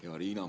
Hea Riina!